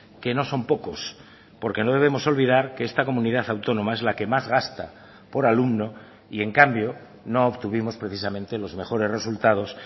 que no son pocos porque no debemos olvidar que esta comunidad autónoma es la que más gasta por alumno y en cambio no obtuvimos precisamente los mejores resultados